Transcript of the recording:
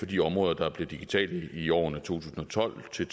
de områder der blev digitale i årene to tusind og tolv til